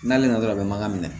N'ale nana dɔrɔn a bɛ mankan minɛ